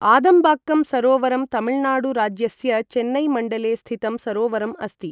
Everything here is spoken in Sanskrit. आदमबक्कम सरोवरं तमिलनाडु राज्यस्य चेन्नई मण्डले स्थितं सरोवरम् अस्ति ।